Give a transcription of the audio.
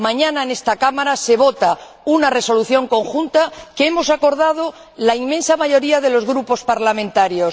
Mañana, en esta Cámara, se vota una resolución conjunta que hemos acordado la inmensa mayoría de los grupos parlamentarios.